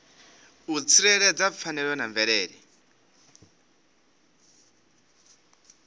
u tsireledza pfanelo dza mvelele